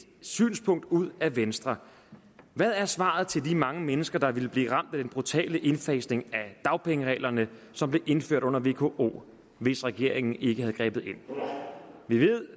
synspunkt ud af venstre hvad er svaret til de mange mennesker der ville blive ramt af den brutale indfasning af dagpengereglerne som blev indført under vko hvis regeringen ikke havde grebet ind vi ved